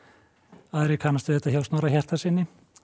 aðrir kannast við þetta hjá Snorra Hjartarsyni